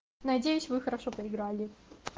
надеюсь вы хорошо поиграли